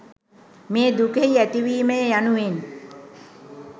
මේ දුකෙහි ඇතිවීමය යනුවෙන්